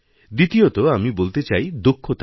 দ্বিতীয়ত আমি বলতে চাই দক্ষতা নিয়ে